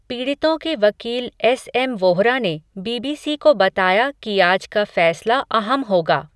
पीड़ितों के वकील एसएम वोहरा ने, बीबीसी को बताया कि आज का फ़ैसला अहम होगा.